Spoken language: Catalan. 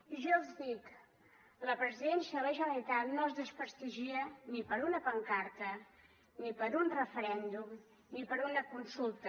i jo els dic la presidència de la generalitat no es desprestigia ni per una pancarta ni per un referèndum ni per una consulta